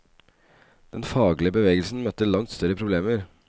Den faglige bevegelsen møtte langt større problemer.